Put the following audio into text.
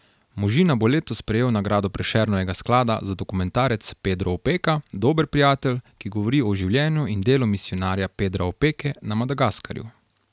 Možina bo letos prejel nagrado Prešernovega sklada za dokumentarec Pedro Opeka, dober prijatelj, ki govori o življenju in delu misijonarja Pedra Opeke na Madagaskarju.